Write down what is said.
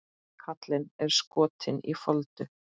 Kallinn er skotinn í Foldu.